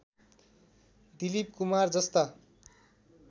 दिलीप कुमार जस्ता